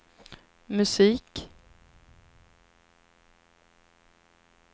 musik